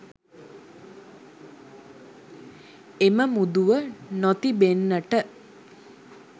එම මුදුව නොතිබෙන්නට